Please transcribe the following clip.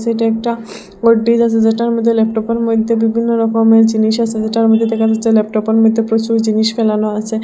সেটা একটা ওর্টিজ আসে যেটার মইদ্যে ল্যাপটপ -এর মইদ্যে বিভিন্ন রকমের জিনিস আসে যেটার মদ্যে দেখা যাচ্ছে ল্যাপটপ -এর মদ্যে প্রচুর জিনিস ফেলানো আছে।